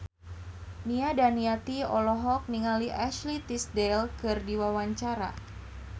Nia Daniati olohok ningali Ashley Tisdale keur diwawancara